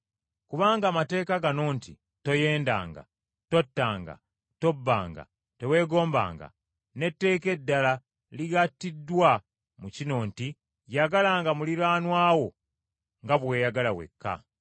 Kubanga amateeka gano nti, “Toyendanga, tottanga, tobbanga, teweegombanga,” n’etteeka eddala, ligattiddwa mu kino nti, “Yagalanga muliraanwa wo nga bwe weeyagala wekka.”